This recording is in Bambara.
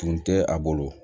Tun tɛ a bolo